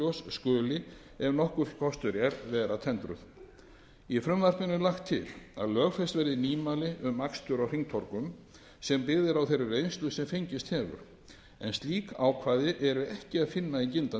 skuli ef nokkur kostur er vera tendruð í frumvarpinu er lagt er til að lögfest verði nýmæli um akstur á hringtorgum sem byggð eru á þeirri reynslu sem fengist hefur slík ákvæði er ekki að finna í gildandi